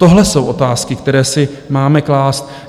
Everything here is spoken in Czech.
Tohle jsou otázky, které si máme klást